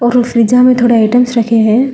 और वो फ्रीजर में थोड़ा आइटम्स रखे हैं।